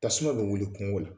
Tasuma bɛ wili kungo la.